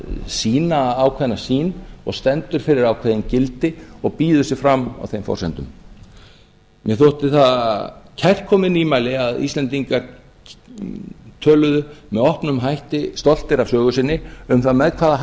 sýna ákveðna sýn og stendur fyrir ákveðin gildi og býður sig fram á þeim forsendum mér þótti það kærkomið nýmæli að íslendingar töluðu með opnum hætti stoltir af sögu sinni um það með hvaða